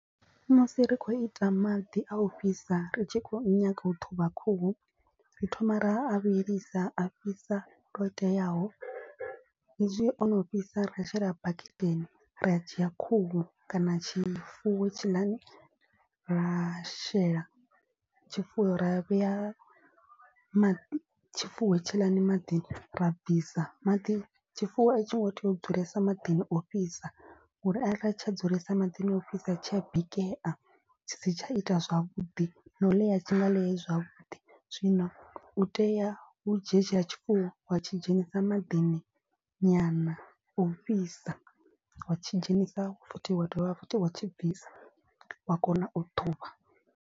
Musi ri khou ita maḓi a u fhisa ri tshi khou nyanga u ṱhuvha khuhu ri thoma ra a vhilisa a fhisa lwo teaho. Hezwi o no fhisa ra shela baketeni ra dzhia khuhu kana tshifuwo tshiḽani ra shela tshifuwo ra vhea maḓi tshifuwo tshiḽani maḓini. Ra bvisa maḓi tshifuwo a tsho ngo tea u dzulesa maḓini ofhisa uri a ra tsha dzulesa maḓini ofhisa tshi a bikea. Tshi si tsha ita zwavhuḓi na u ḽea a tshi nga ḽei zwavhuḓi zwino u tea u dzhia hetshiḽa tshifuwo wa tshi dzhenisa maḓini nyana o fhisa. Wa tshi dzhenisa futhi wa dovha futhi wa tshi bvisa wa kona u ṱhuvha.